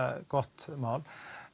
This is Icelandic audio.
gott mál